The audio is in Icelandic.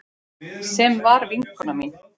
Sem var vinkona mín.